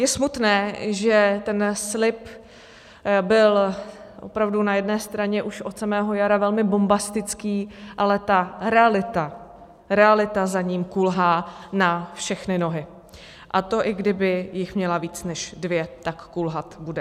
Je smutné, že ten slib byl opravdu na jedné straně už od samého jara velmi bombastický, ale ta realita za ním kulhá na všechny nohy, a to i kdyby jich měla víc než dvě, tak kulhat bude.